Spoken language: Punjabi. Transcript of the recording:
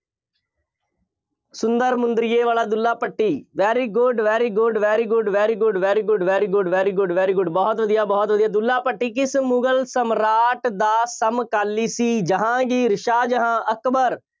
ਸੁੰਦਰ ਮੁੰਦਰੀਏ ਵਾਲਾ Dulla Bhatti very good, very good, very good, very good, very good, very good, very good, very good ਬਹੁਤ ਵਧੀਆ, ਬਹੁਤ ਵਧੀਆ, ਦੁੱਲਾ ਭੱਟੀ ਕਿਸ ਮੁਗਲ ਸਮਰਾਟ ਦਾ ਸਮਕਾਲੀ ਸੀ? ਜਹਾਂਗੀਰ, ਸ਼ਾਹਜਹਾਂ, ਅਕਬਰ